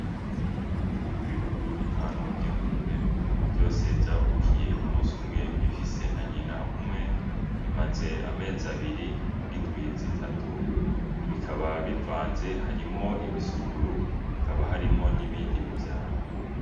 Ibibuguru bitanu mu vy'ingurube vyose vyavukiye umusi umwe bifise na nyina umwe bimaze amezi abiri n'indwi zitatu bikaba bivanze harimwo ibisuguru hakaba harimwo n'ibindi bivyara.